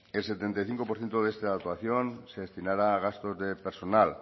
el setenta y cinco por ciento de esta actuación se destinará a gastos de personal